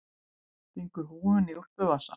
Stingur húfunni í úlpuvasann.